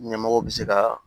Ɲɛmɔgɔw bɛ se ka